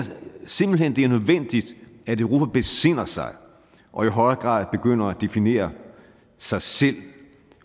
simpelt hen det er nødvendigt at europa besinder sig og i højere grad begynder at definere sig selv